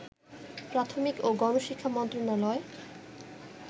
প্রাথমিক ও গণশিক্ষা মন্ত্রণালয়